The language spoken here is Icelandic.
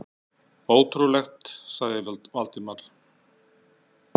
Ótrúlegt sagði Valdimar.